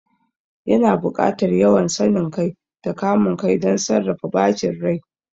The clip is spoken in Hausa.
Yana buƙatar yawan sanin kai da kamun kai don sarrafa bacin rai.